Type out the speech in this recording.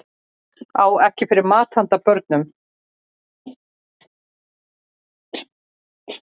Á ekki fyrir mat handa börnunum